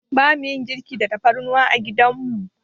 Bamu yin girki da tafarnuwa a gidan mu.